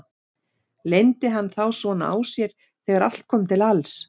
Leyndi hann þá svona á sér þegar allt kom til alls?